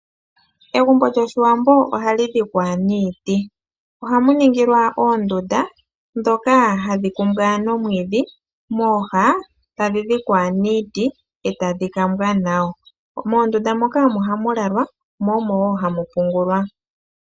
Egumbo lyoshiwambo ohali dhikwa niiti, ohamu ningilwa oondunda ndhono hadhi kumbwa nomwiidhi mooha tadhi dhikwa niiti etadhi kambwa nawa. Moondunda moka omo hamu lalwa nenge hamu pungulwa.